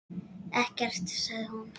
Ekkert, sagði hún.